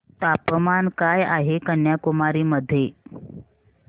तापमान काय आहे कन्याकुमारी मध्ये